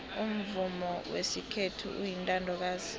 umvumo wesikhethu uyintandokazi